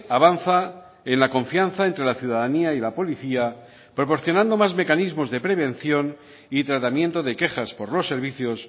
avanza en la confianza entre la ciudadanía y la policía proporcionando más mecanismos de prevención y tratamiento de quejas por los servicios